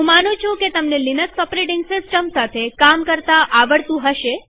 હું માનું છું કે તમને લિનક્સ ઓપરેટીંગ સિસ્ટમ સાથે કામ કરતા આવડતું હશે